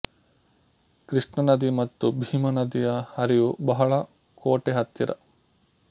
ಕೃಷ್ಣ ನದಿ ಮತ್ತು ಭೀಮ ನದಿಯ ಹರಿವು ಬಹಳ ಕೋಟೆ ಹತ್ತಿರ